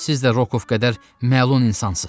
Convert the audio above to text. Siz də Rokov qədər məlun insansız.